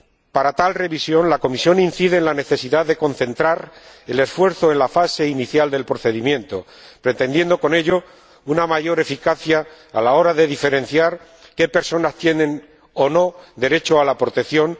Para tal revisión, la Comisión incide en la necesidad de concentrar el esfuerzo en la fase inicial del procedimiento, pretendiendo con ello una mayor eficacia a la hora de diferenciar qué personas tienen o no derecho a la protección.